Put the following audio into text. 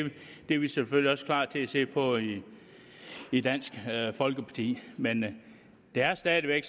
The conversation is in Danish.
er vi selvfølgelig også klar til at se på i i dansk folkeparti men der er stadig væk